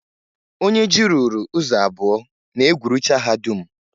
Onye ji ruuru ụzọ abụọ na-egwurucha ha dum.